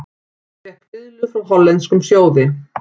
Fékk fiðlu frá hollenskum sjóði